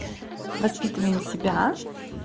воспитываем себя